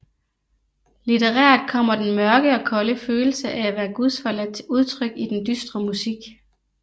Litterært kommer den mørke og kolde følelse af at være gudsforladt til udtryk i den dystre musik